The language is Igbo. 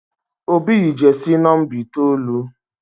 Obi yi jesi nomba itoolu